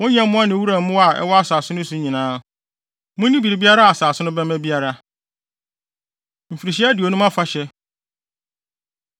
wo nyɛmmoa ne wuram mmoa a ɛwɔ asase no so nyinaa. Munni biribiara a asase no bɛma biara. Mfirihyia Aduonum Afahyɛ